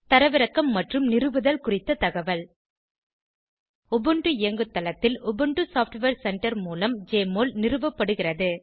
தரவிறக்கம் மற்றும் நிறுவுதல் குறித்த தகவல்160 உபுண்டு இயங்குதளத்தில் உபுண்டு சாப்ட்வேர் சென்டர் மூலம் ஜெஎம்ஒஎல் நிறுவப்படுகிறது